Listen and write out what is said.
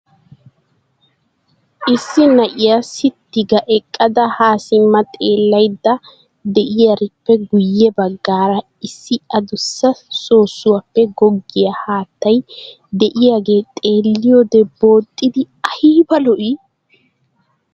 Issi na'iyaa sitti ga eqqada ha simma xeellaydda de'iyaarippe guye baggaara issi addussa soosuwappe goggiyaa haattay de'iyaagee xeelliyoode booxxiddi aybba lo"ii!